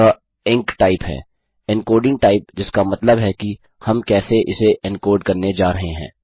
यह एंकटाइप है encoding type जिसका मतलब है कि हम कैसे इसे इनकोड करने जा रहे हैं